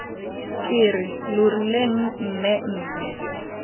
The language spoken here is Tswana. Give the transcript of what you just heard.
ke re lo rileng mmemme